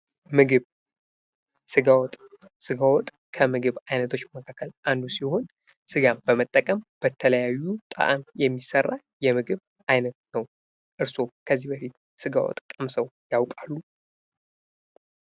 ምግብ፤ ስጋ ወጥ፦ ከምግብ አይነቶች መካከል አንዱ ሲሆን ስጋን በመጠቀም በተለያዩ ጣእም የሚሰራ የምግብ አይነት ነው። እርስዎ ከዚህ በፊት ስጋ ወጥ ቀምሰው ያውቃሉ?